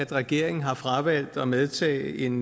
regeringen har fravalgt at medtage en